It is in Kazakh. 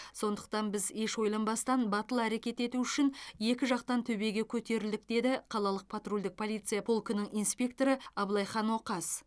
сондықтан біз еш ойланбастан батыл әрекет ету үшін екі жақтан төбеге көтерілдік деді қалалық патрульдік полиция полкінің инспекторы абылайхан оқас